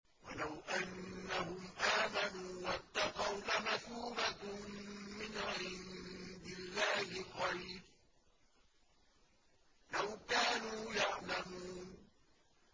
وَلَوْ أَنَّهُمْ آمَنُوا وَاتَّقَوْا لَمَثُوبَةٌ مِّنْ عِندِ اللَّهِ خَيْرٌ ۖ لَّوْ كَانُوا يَعْلَمُونَ